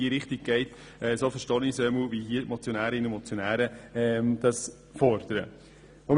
Sie geht in die gleiche Richtung wie die vorliegende Motion, wenn ich sie richtig verstanden habe.